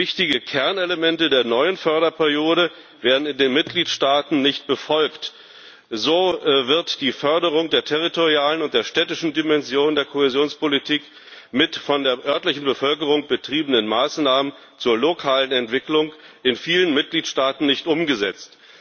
Wichtige Kernelemente der neuen Förderperiode werden in den Mitgliedstaaten nicht befolgt So wird die Förderung der territorialen und der städtischen Dimension der Kohäsionspolitik, mit von der örtlichen Bevölkerung betriebenen Maßnahmen zur lokalen Entwicklung, in vielen Mitgliedstaaten nicht umgesetzt.